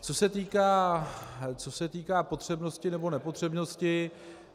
Co se týče potřebnosti nebo nepotřebnosti.